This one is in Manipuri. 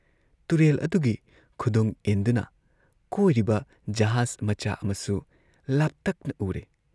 ꯇꯨꯔꯦꯜ ꯑꯗꯨꯒꯤ ꯈꯨꯗꯨꯡ ꯏꯟꯗꯨꯅ ꯀꯣꯏꯔꯤꯕ ꯖꯍꯥꯖ ꯃꯆꯥ ꯑꯃꯁꯨ ꯂꯥꯞꯇꯛꯅ ꯎꯔꯦ ꯫